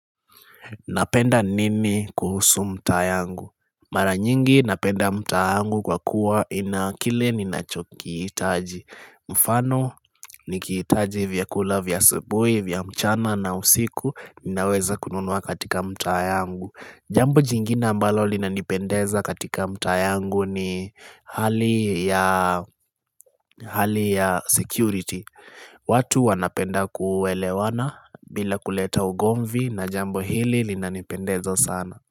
Napenda nini kuhusu mtaa yangu? Mara nyingi napenda mtaa wangu kwa kuwa ina kile ninachokihitaji. Mfano, nikihitaji vyakula, vya asubuhi vya mchana na usiku, ninaweza kununua katika mtaa yangu. Jambo jingine ambalo linanipendeza katika mtaa yangu ni hali ya security watu wanapenda kuelewana bila kuleta ugomvi na jambo hili linanipendeza sana.